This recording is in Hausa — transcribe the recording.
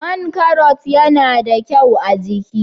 Man Karrot yana da kyau a'jiki.